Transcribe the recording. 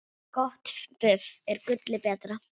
Gott buff er gulli betra.